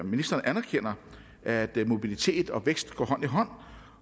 ministeren anerkender at mobilitet og vækst går hånd i hånd